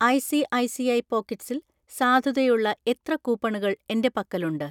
ഐ.സി.ഐ.സി.ഐ പോക്കറ്റ്‌സിൽ സാധുതയുള്ള എത്ര കൂപ്പണുകൾ എൻ്റെ പക്കലുണ്ട്?